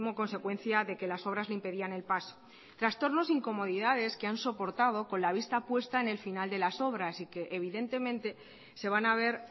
consecuencia de que las obras le impedían el paso trastornos e incomodidades que han soportado con la vista puesta en el final de las obras y que evidentemente se van a ver